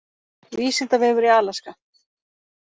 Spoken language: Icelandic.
Vísindavefur í Alaska.